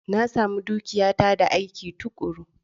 Na sami dukiyata da aiki tuƙuru.